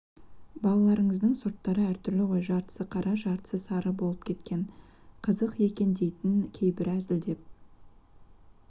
балаларыңыздың сорттары әртүрлі ғой жартысы қара жартысы сары болып кеткен қызық екен дейтін кейбірі әзілдеп